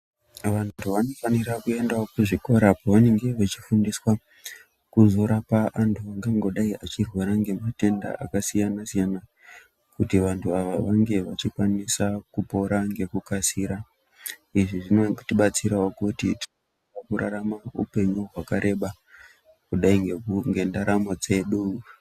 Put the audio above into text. Vantu vanofanira kuendawo kuzvikora apo vanenge vachizofundiswa kuti azorapa antu, angangodai achirwara ngematenda akasiyana-siyana, kuti vantu ava vange vachikwanisa kupora ngekukasira. Izvi zvinotibatsirawo kuti mukurarama upenyu hwakareba, kudai ngeku ngendaramo yedu.